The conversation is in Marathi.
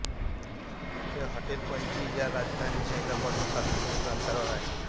हे हॉटेल पणजी या राजधानी शहरापासून सात किलोमीटरवर आहे